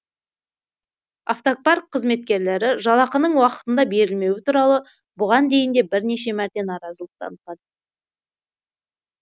автопарк қызметкерлері жалақының уақытында берілмеуі туралы бұған дейін де бірнеше мәрте наразылық танытқан